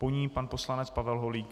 Po ní pan poslanec Pavel Holík.